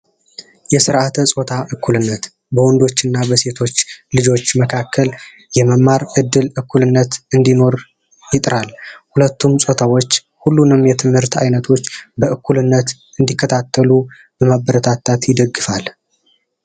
የስርዓተ ፆታ እኩልነት በወንዶች እና ሴቶች ልጆች መካከል የመማር እድል እኩልነ። እንዲኖር ይጥራል። ሁለቱም ፆታዎች ሁሉንም የትምህርት አይነቶች በእኩልነት እንዲከታተሉ በማበረታታት ይደግፋል።